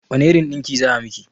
Wane irin ɗinki za a miki?